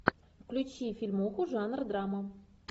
включи фильмуху жанра драма